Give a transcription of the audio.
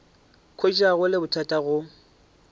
hwetša go le bothata go